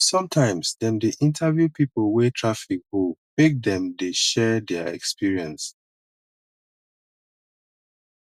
sometimes dem dey interview pipo wey traffic hold make dem dey share their experience